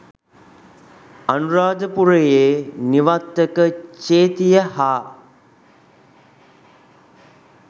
අනුරාධපුරයේ නිවත්තක චේතිය හා